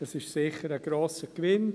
Dies ist sicher ein grosser Gewinn.